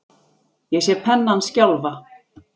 Ég sé pennann skjálfa.